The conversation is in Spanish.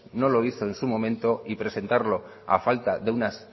no lo hizo en su momento y presentarlo a falta de unas